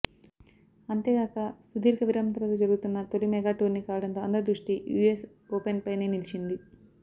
అంతేగాక సుదీర్ఘ విరామం తర్వాత జరుగుతున్న తొలి మెగా టోర్నీ కావడంతో అందరి దృష్టి యూఎస్ ఓపెన్పైనే నిలిచింది